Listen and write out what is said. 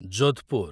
Jodhpur